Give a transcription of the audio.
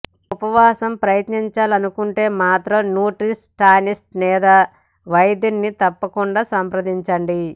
మీరు ఉపవాసం ప్రయత్నించాలనుకుంటే మాత్రం న్యూట్రిషనిస్ట్ లేదా వైద్యుడిని తప్పకుండా సంప్రదించండి